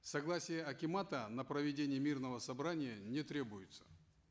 согласие акимата на проведение мирного собрания не требуется